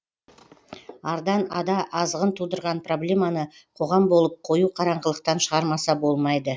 ардан ада азғын тудырған проблеманы қоғам болып қою қараңғылықтан шығармаса болмайды